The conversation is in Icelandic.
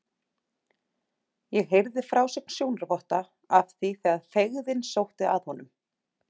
Ég heyrði frásögn sjónarvotta af því þegar feigðin sótti að honum.